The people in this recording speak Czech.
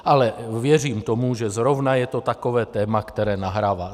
Ale věřím tomu, že zrovna je to takové téma, které nahrává.